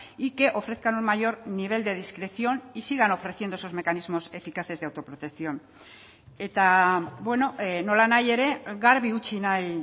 y que ofrezcan un mayor nivel de discreción y sigan ofreciendo esos mecanismos eficaces de autoprotección eta nola nahi ere garbi utzi nahi